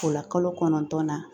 O la kalo kɔnɔntɔn na